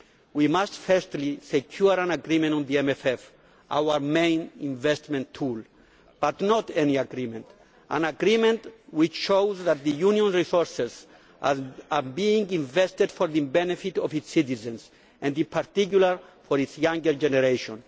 We must firstly secure an agreement on the MFF, our main investment tool not any agreement, but an agreement which shows that the Union's resources are being invested for the benefit of its citizens and in particular for its younger generation.